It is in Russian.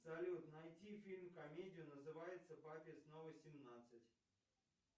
салют найти фильм комедию называется папе снова семнадцать